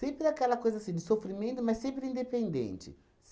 aquela coisa assim de sofrimento, mas sempre independente.